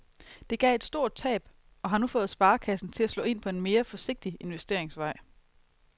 Det gav et stort tab og har nu fået sparekassen til at slå ind på en mere forsigtig investeringsvej.